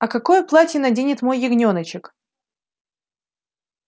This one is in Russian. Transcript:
а какое платье наденет мой ягнёночек